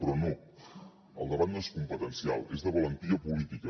però no el debat no és competencial és de valentia política